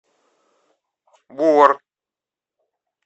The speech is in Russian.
бор